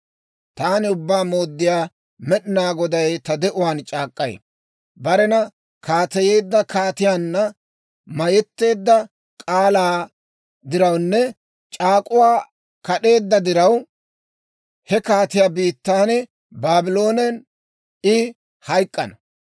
« ‹Taani Ubbaa Mooddiyaa Med'inaa Goday ta de'uwaan c'aak'k'ay: Barena kaateyeedda kaatiyaanna mayetteedda k'aalaa dirawunne c'aak'uwaa kad'eedda diraw, he kaatiyaa biittan, Baabloonen I hayk'k'ana.